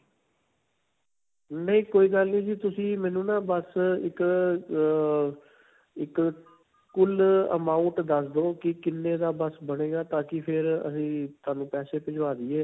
ਨਹੀਂ ਕੋਈ ਗੱਲ ਨੀ ਜੀ ਤੁਸੀ ਮੈਨੂੰ ਨਾ ਬਸ ਅਅ ਇੱਕ ਅਅ ਇੱਕ ਕੁੱਲ amount ਦਸਦੋ ਕਿ ਕਿੰਨੇ ਦਾ ਬਸ ਬਣੇਗਾ ਤਾਂਕਿ ਫਿਰ ਅਸੀਂ ਤੁਹਾਨੂੰ ਪੈਸੇ ਭਿਜਵਾ ਦਈਏ.